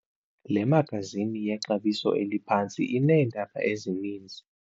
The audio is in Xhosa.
Le magazini yexabiso eliphantsi ineendaba ezininzi.